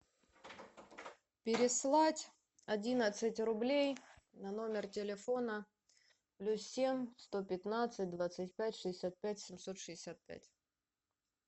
переслать одиннадцать рублей на номер телефона плюс семь сто пятнадцать двадцать пять шестьдесят пять семьсот шестьдесят пять